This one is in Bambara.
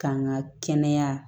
K'an ka kɛnɛya